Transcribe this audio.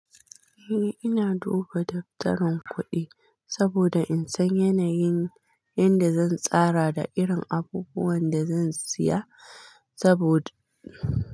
Eh ina duba daftarin kuɗi saboda in san yanayin yadda zan tsara da irin abubuwan da zan siya sabod.